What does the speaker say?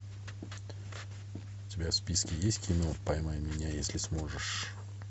у тебя в списке есть кино поймай меня если сможешь